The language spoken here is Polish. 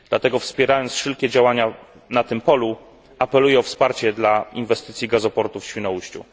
Dlatego wspierając wszelkie działania na tym polu apeluję o wsparcie dla inwestycji gazoportu w Świnoujściu.